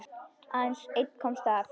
Aðeins einn komst af.